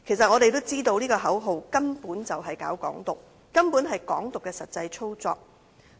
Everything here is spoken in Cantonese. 我們都知道這些口號根本是搞"港獨"，根本是"港獨"的實際操作。